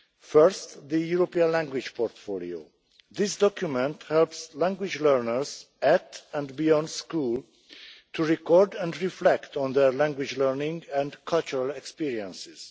First, the European language Portfolio, a document that helps language learners, at and beyond school, to record and reflect on their language learning and cultural experiences.